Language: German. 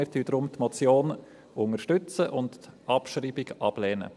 Wir unterstützen deshalb die Motion und lehnen die Abschreibung ab.